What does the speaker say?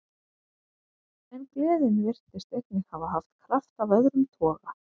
En gleðin virtist einnig hafa haft kraft af öðrum toga.